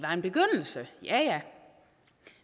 ja